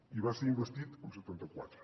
i va ser investit amb setanta quatre